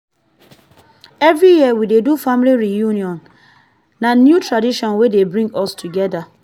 every year we dey do family reunion na new tradition wey dey bring us togeda